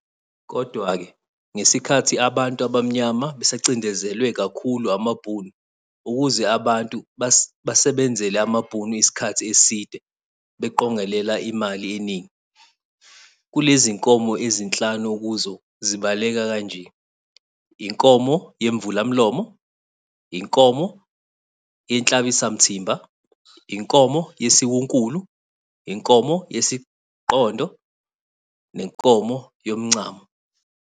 Kodwake ngesikhathi abantu abamyama besacindezelwe kakhulu amabhunu, ukuze abantu basebenzele amabhunu iskhathi eside beqongelela imali eningi. Kulezinkomo ezinhlanu okuzo zibaleka kanje, inkomo yemvulamlomo, inkomo yenhlabisamthimba, inkomo yesiwunkulu, inkomo yesiqondo nenkomo yomncamo.